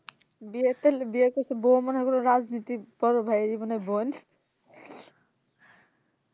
বিয়ে তাইলে বিয়ে করছে বউ মনে কর রাজনীতি বড় ভাইয়েরই মনে হয় বোন